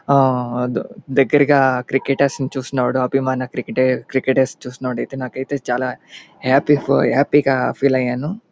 ఆహ్ దెగ్గరగా క్రికెటర్స్ చూసయినప్పుడున అభిమాన క్రికెటర్స్ చూసినప్పుడు నాకైతే చాలా హ్యాపీ ఫర్ హ్యాపీ గా ఫీల్ అయ్యాను.